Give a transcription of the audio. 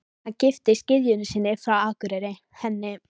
Hann giftist gyðjunni sinni frá Akureyri, henni